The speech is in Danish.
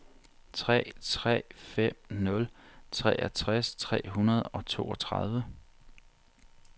tre tre fem nul treogtres tre hundrede og toogtredive